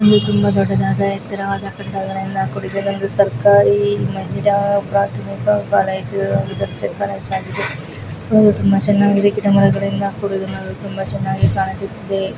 ಒಂದು ತುಂಬಾ ದೊಡ್ಡದಾದ ಎತ್ತರವಾದ ಕೂಡಿದ ಒಂದು ಸರ್ಕಾರೀ ಮಹಿಳಾ ಪ್ರಾಥಮಿಕ ಕಾಲೇಜ್ ಆಗಿದೆ ಇದು ತುಂಬಾ ಚೆನ್ನಾಗಿದೆ ಗಿಡಮರಗಳಿಂದ ಕೂಡಿದೆ ನೋಡಲು ತುಂಬಾ ಚೆನ್ನಾಗಿ ಕಾಣಿಸುತ್ತಿದೆ.